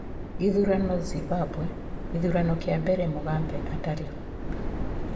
Gĩthurano Zimbabwe:gĩthurano kĩa mbera Mugambe atarĩ ho